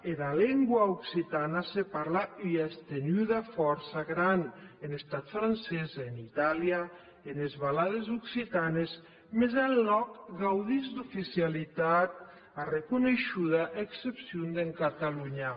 era lengua occitana se parle en ua estenuda fòrça grana en estat francés en itàlia enes valades occitanes mès enlòc gaudís d’oficialitat arreconeishuda a excepcion de catalonha